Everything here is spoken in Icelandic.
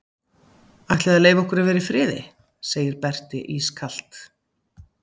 Ætliði að leyfa okkur að vera í friði, segir Berti ískalt.